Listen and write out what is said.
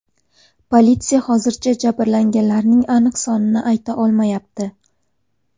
Politsiya hozircha jabrlanganlarning aniq sonini ayta olmayapti.